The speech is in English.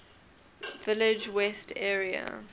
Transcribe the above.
village west area